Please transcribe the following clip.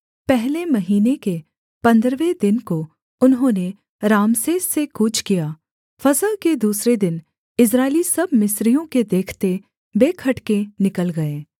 पहले महीने के पन्द्रहवें दिन को उन्होंने रामसेस से कूच किया फसह के दूसरे दिन इस्राएली सब मिस्रियों के देखते बेखटके निकल गए